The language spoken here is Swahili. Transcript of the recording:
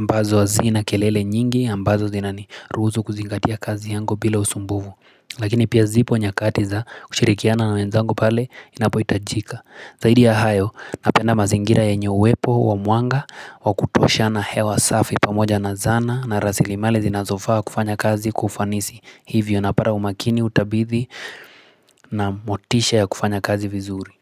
ambazo hazina kelele nyingi ambazo zinaniruhusu kuzingatia kazi yangu bila usumbufu Lakini pia zipo nyakati za kushirikiana na wenzangu pale inapohitajika Zaidi ya hayo napenda mazingira yenye uwepo wa mwanga wa kutosha na hewa safi pamoja na zana na rasilimali zinazofaa kufanya kazi kwa ufanisi Hivyo na pata umakini utabithi na motisha ya kufanya kazi vizuri.